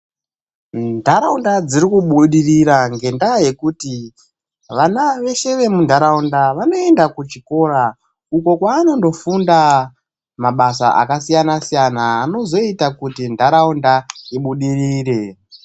Ndaraunda dzirikubudirira ngendaa yekuti vana veshe vemundaraunda vanoenda kuchikora, uko kwawanondofunda mabasa akasiyana-siyana, anozoita kuti ndaraunda ibudirire.